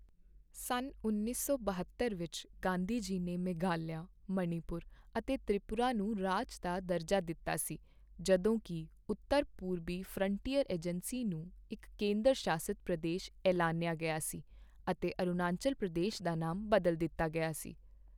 ਸੰਨ ਉੱਨੀ ਸੌ ਬਹੱਤਰ ਵਿੱਚ ਗਾਂਧੀ ਜੀ ਨੇ ਮੇਘਾਲਿਆ, ਮਣੀਪੁਰ ਅਤੇ ਤ੍ਰਿਪੁਰਾ ਨੂੰ ਰਾਜ ਦਾ ਦਰਜਾ ਦਿੱਤਾ ਸੀ, ਜਦੋਂ ਕੀ ਉੱਤਰ ਪੂਰਬੀ ਫਰੰਟੀਅਰ ਏਜੰਸੀ ਨੂੰ ਇੱਕ ਕੇਂਦਰ ਸ਼ਾਸਿਤ ਪ੍ਰਦੇਸ਼ ਐਲਾਨਿਆ ਗਿਆ ਸੀ ਅਤੇ ਅਰੁਣਾਚੱਲ ਪ੍ਰਦੇਸ਼ ਦਾ ਨਾਮ ਬਦਲ ਦਿੱਤਾ ਗਿਆ ਸੀ।